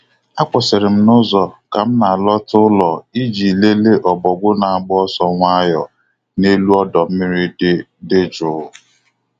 Akwụsịrị n'ụzọ ka m na-alọta ụlọ iji lele Ọbọgwụ na-agba ọsọ nwayọ n’elu ọdọ mmiri dị dị jụụ.